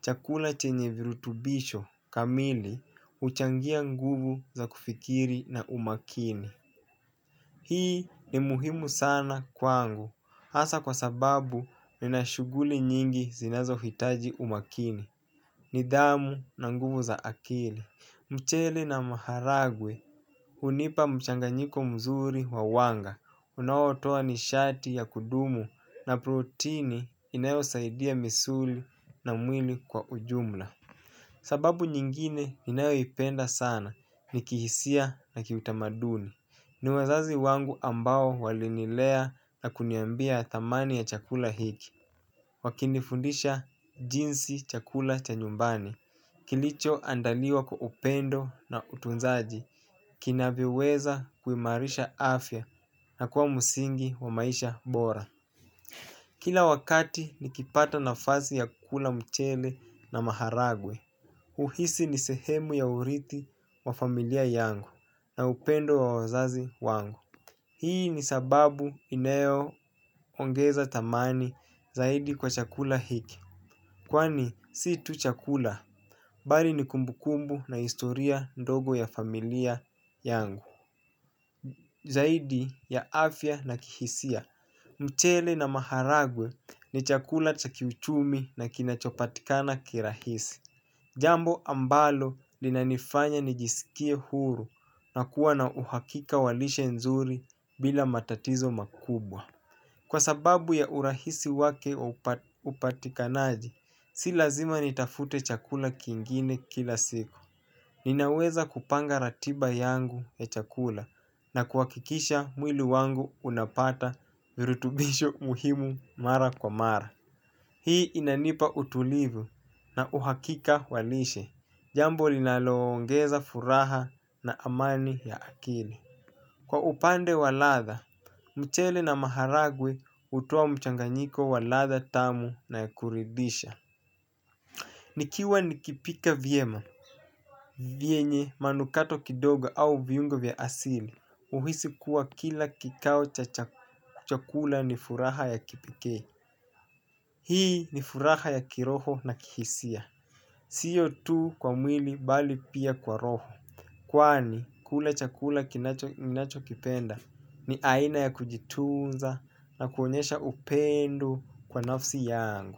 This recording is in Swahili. chakula chenye virutubisho kamili huchangia nguvu za kufikiri na umakini. Hii ni muhimu sana kwangu, hasa kwa sababu nina shughuli nyingi zinazohitaji umakini. Nidhamu na nguvu za akili mchele na maharagwe hunipa mchanganyiko mzuri wa wanga unaotoa nishati ya kudumu na proteini inayosaidia misuli na mwili kwa ujumla. Sababu nyingine ninayoipenda sana ni kihisia na kiutamaduni. Ni wazazi wangu ambao walinilea na kuniambia dhamani ya chakula hiki wakinifundisha jinsi chakula cha nyumbani kilichoandaliwa kwa upendo na utunzaji kinavyoweza kuimarisha afya na kuwa msingi wa maisha bora. Kila wakati nikipata nafasi ya kukula mchele na maharagwe huhisi ni sehemu ya urithi wa familia yangu na upendo wa wazazi wangu. Hii ni sababu inayoongeza dhamani zaidi kwa chakula hiki. Kwani si tu chakula, bali ni kumbu kumbu na historia ndogo ya familia yangu. Zaidi ya afya na kihisia, mchele na maharagwe ni chakula cha kiuchumi na kinachopatikana kirahisi. Jambo ambalo linanifanya nijisikie huru na kuwa na uhakika wa lishe nzuri bila matatizo makubwa. Kwa sababu ya urahisi wake upatikanaji, si lazima nitafute chakula kingine kila siku. Ninaweza kupanga ratiba yangu ya chakula na kuhakikisha mwili wangu unapata virutubisho muhimu mara kwa mara. Hii inanipa utulivu na uhakika walishe. Jambo linaloongeza furaha na amani ya akili. Kwa upande wa ladha, mchele na maharagwe hutoa mchanganyiko wa ladha tamu na kuridhisha nikiwa nikipika vyema vyenye manukato kidogo au viungo vya asili huhisi kuwa kila kikao cha chakula ni furaha ya kipekee. Hii ni furaha ya kiroho na kihisia. Sio tu kwa mwili bali pia kwa roho. Kwani kula chakula ninachokipenda ni aina ya kujitunza na kuonyesha upendi kwa nafsi yangu.